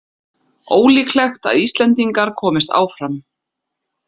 Ólíklegt að Íslendingar komist áfram